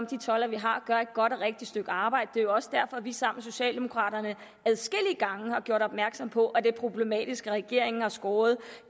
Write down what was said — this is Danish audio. de toldere vi har gør et godt og rigtigt stykke arbejde det er jo også derfor at vi sammen med socialdemokraterne adskillige gange har gjort opmærksom på at det er problematisk at regeringen har skåret